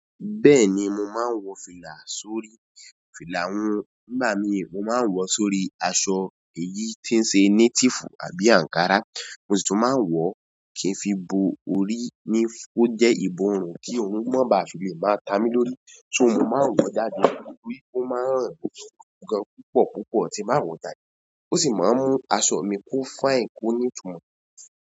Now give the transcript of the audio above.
Bẹ́ẹ̀ni mo máa ń wọ fìlà sórí. Fìlà hun nígbà míì mo máa ń wọ̀ọ́ sórí aṣọ èyí tí ń ṣe native àbí ankara. Mo sì tún máa ń wọ̀ọ́ kì n fi bo orí ni ó jẹ́ ìborùn kí oòrùn má baà fi lè máa ta mí lórí. So mo máa ń wọ̀ọ́ jáde lórí ó máa ń ràn ó tún gan-an púpọ̀ púpọ̀ tí n bá wọ̀ọ́ jáde. Ó sì máa ń mú aṣọ mi kó fine kó nítumọ̀.